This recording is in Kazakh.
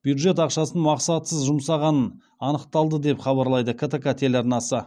бюджет ақшасын мақсатсыз жұмсағанын анықталды деп хабарлайды ктк телеарнасы